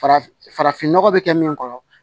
Farafin farafinnɔgɔ bɛ kɛ min kɔrɔ